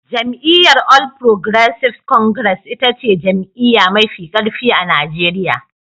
Jam'iyyar All Progressives Congress ita ce jam'iyya mafi karfi a Najeriya.